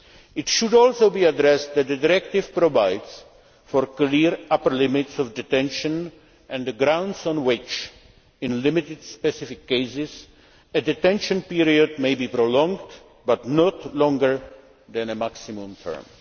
It should also be stressed that the directive provides for clear upper limits of detention and the grounds on which in limited specific cases a detention period may be prolonged, but not longer than a maximum term.